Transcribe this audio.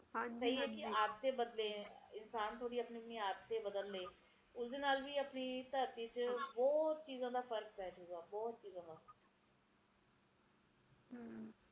ਦੁਖੀ ਐ ਤੇ ਆਨੇ ਵਾਲਾ ਸਮਾਂ ਕਿ ਹੋਊਗਾ ਇਹ ਚੀਜ਼ ਬਹੁਤ ਬਹੁਤ ਸਮਝਣੀ ਜ਼ਰੂਰੀ ਐ ਸਮਜਲੋ ਆਪ ਉਹ ਪੀੜੀ ਆ ਜਿਹਨੇ ਸਾਰਾ ਕੁਸ਼ ਦੇਖਿਆ ਹੈ